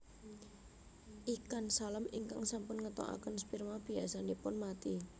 Ikan salem ingkang sampun ngetoaken sperma biasanipun mati